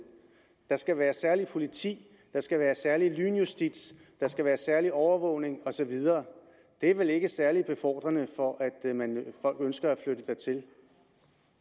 der skal være et særligt politi der skal være særlig justits der skal være særlig overvågning og så videre det er vel ikke særlig befordrende for at folk ønsker